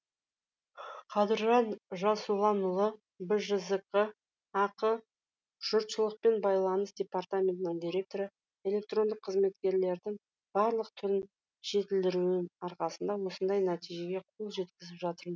қадыржан жасұланұлы бжзқ ақ жұртшылықпен байланыс департаментінің директоры электрондық қызметкерлердің барлық түрін жетілдіруің арқасында осындай нәтижеге қол жеткізіп жатырм